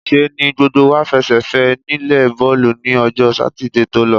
ṣe ni gbogbo wá fẹsẹ̀ fẹ́ ẹ nílé bọ́ọ̀lù ni ọjọ́ Sátidé tó lọ.